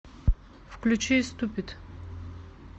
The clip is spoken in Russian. включи ступид